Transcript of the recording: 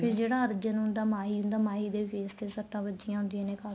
ਫ਼ਿਰ ਜਿਹੜਾ ਅਰਜੁਨ ਹੁੰਦਾ ਮਾਹੀ ਹੁੰਦਾ ਮਾਹੀ ਦੇ face ਤੇ ਸੱਟਾਂ ਵੱਜੀਆਂ ਹੁੰਦੀਆਂ ਨੇ ਖਾਸੀਆਂ